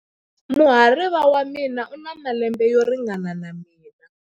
Muhariva wa mina u na malembe yo ringana na ya mina.